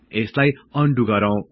यसलाई अनडु गरौं